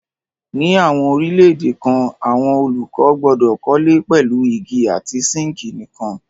Ní àwọn orílẹ̀-èdè kan àwọn olùkọ́ gbọdọ̀ kọ́lé pẹ̀lú igi àti síńkì nìkan.